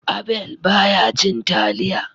Abel ba ya cin taliya